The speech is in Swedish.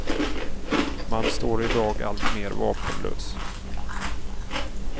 Man står i dag alltmer vapenlös.